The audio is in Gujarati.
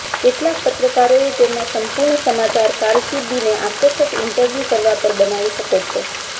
કેટલાક પત્રકારોએ તેમના સંપૂર્ણ સમાચાર કારકિર્દીને આકર્ષક ઇન્ટરવ્યૂ કરવા પર બનાવી શકો છો